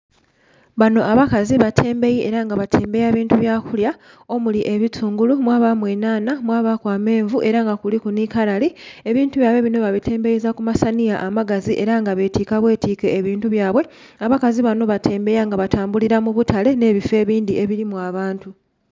Banho abakazi batembeyi era nga batembeya bintu byakulya omuli ebitungulu, mwabamu enhanha, mwabaku amenvu era nga kuliku nhi kalali. Ebintu byabwe binho batembeyeza kumasanhiya amagazi era nga betika bwetike ebintu byabwe. Abakazi banho batembeya nga abatambulira mubutale nhe bifo ebindhi nga bilimu abantu.